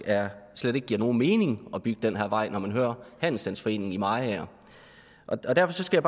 slet ikke giver nogen mening at bygge den her vej når man hører handelsstandsforeningen i mariager derfor skal